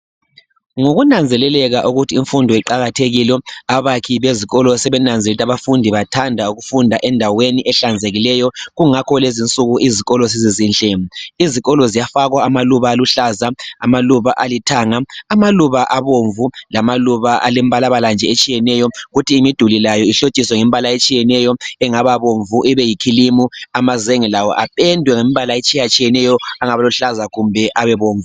Ngokunanzelekeka ukuthi imfundo iqakathekile , abakhi bezikolo sebenanzelele ukuthi abafundi bathanda ukufunda endaweni ehlanzekileyo. Kungakho lezinsuku izikolo sezizinhle. Izikolo ziyafakwa amaluba aluhlaza , amaluba alithanga, amaluba abomvu lamaluba alembalabala nje etshiyeneyo. Kuthi imiduli layo ihlotshiswe ngembala etshiyeneyo , engabe bomvu , ibe yikhilimu. Amazenge lawo ependwe ngembala etshiyatshiyeneyo, engabiluhlaza kumbe ebebomvu.